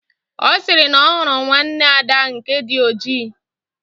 Ọ sịrị na ọ hụrụ nwanne Ada nke dị ojii